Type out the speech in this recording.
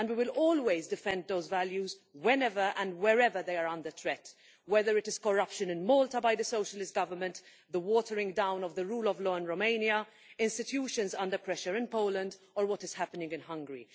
We will always defend those values whenever and wherever they are under threat, whether it is the corruption of the Socialist Government in Malta, the watering down of the rule of law in Romania, institutions under pressure in Poland, or what is happening in Hungary.